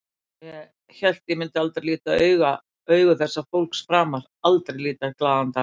Og ég hélt ég myndi aldrei líta augu þessa fólks framar, aldrei líta glaðan dag.